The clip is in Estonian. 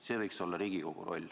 See võiks olla Riigikogu roll.